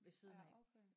Ja okay